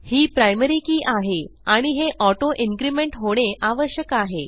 ही primary key आहे आणि हे ऑटो इन्क्रीमेंट होणे आवश्यक आहे